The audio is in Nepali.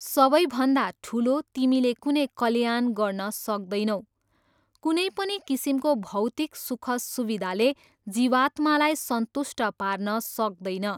सबैभन्दा ठुलो तिमीले कुनै कल्याण गर्न सक्दैनौ, कुनै पनि किसिमको भौतिक सुखसुविधाले जीवात्मालाई सन्तुष्ट पार्न सक्दैन।